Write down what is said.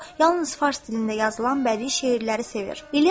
Yalnız fars dilində yazılan bədii şeirləri sevir.